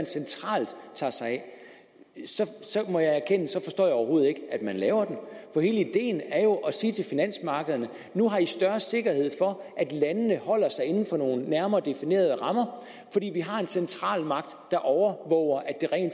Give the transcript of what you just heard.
centralt tager sig af må jeg erkende at så forstår jeg overhovedet ikke at man laver den hele ideen er jo at sige til finansmarkederne nu har i større sikkerhed for at landene holder sig inden for nogle nærmere definerede rammer fordi vi har en centralmagt der overvåger